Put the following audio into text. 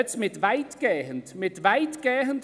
Jetzt steht «weitgehend».